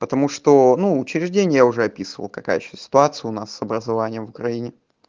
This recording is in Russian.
потому что ну учреждения уже описывал какая ситуация у нас с образованием в украине